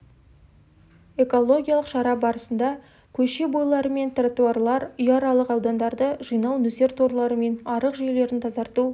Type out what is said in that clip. экологиялық шара барысында көше бойлары мен тротуарлар үйаралық аудандарды жинау нөсер торлары мен арық жүйелерін тазарту